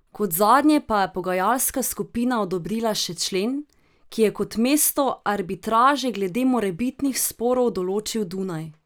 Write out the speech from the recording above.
Kot zadnje pa je pogajalska skupina odobrila še člen, ki je kot mesto arbitraže glede morebitnih sporov določil Dunaj.